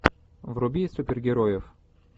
вруби супергероев